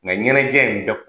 Nka ɲɛnajɛ in